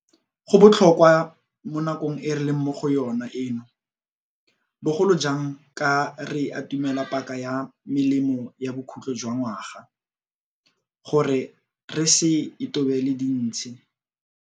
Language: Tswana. Go botlhokwa mo nakong e re leng mo go yona eno, bogolo jang ka re atumela paka ya melemo ya bokhutlho jwa ngwaga, gore re se itobele dintshi.